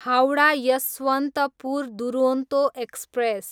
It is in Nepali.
हाउडा, यसवन्तपुर दुरोन्तो एक्सप्रेस